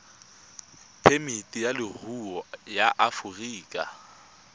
phemiti ya leruri ya aforika